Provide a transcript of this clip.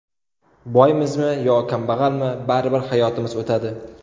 Boymizmi yo kambag‘almi, baribir hayotimiz o‘tadi.